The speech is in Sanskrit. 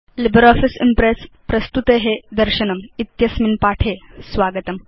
लिब्रियोफिस इम्प्रेस् प्रस्तुते दर्शनम् इत्यस्मिन् पाठे स्वागतम्